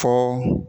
Fɔ